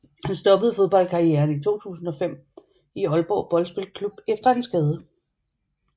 Han stoppede fodboldkarrieren i 2005 i Aalborg Boldspilklub efter en skade